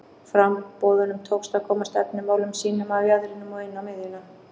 Framboðunum tókst að koma stefnumálum sínum af jaðrinum og inn á miðjuna.